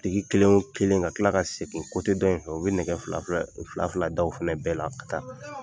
Biriki kelen wo kelen ka tila ka segin dɔ in fɛ u bɛ nɛgɛ fila fila da o fana bɛɛ la ka taa.